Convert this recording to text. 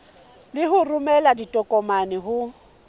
le ho romela ditokomane ho